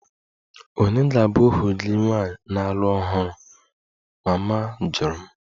Ònye ga-abụ ohu gị nwaanyị na-alụ ọhụrụ? Mama jụrụ m